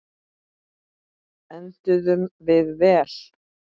Enduðum við vel?